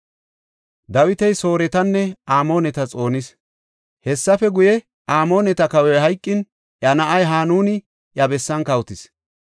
Hessafe guye, Amooneta kawoy hayqin iya na7ay Hanuni iya bessan kawotis.